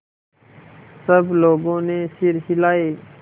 सब लोगों ने सिर हिलाए